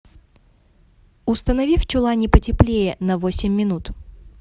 установи в чулане потеплее на восемь минут